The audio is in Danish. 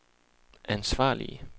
ansvarlige